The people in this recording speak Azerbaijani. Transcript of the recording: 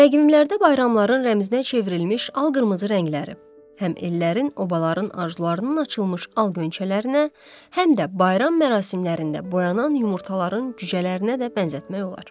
Təqvimlərdə bayramların rəmzinə çevrilmiş al-qırmızı rəngləri, həm ellərin, obaların arzularının açılmış al-ğönçələrinə, həm də bayram mərasimlərində boyanan yumurtaların cücələrinə də bənzətmək olar.